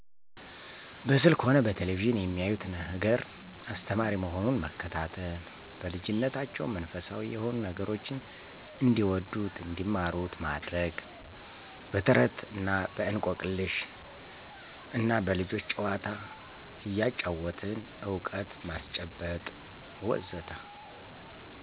በስልክ ሆነ በቴሌቪዥን የሚያዩት ነገር አስተማሪ መሆኑን መከታተል። በልጂነታቸው መንፈሳዊ የሆኑ ነገሮችን እንዲወዱት እንዲማሩት ማድረግ። በተረት እና በእንቆቅልሽ እና በልጆች ጨዋታ እያጫወትን እውቀት ማስጨበጥ.. ወዘተ